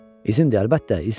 İzin de, əlbəttə, izindir.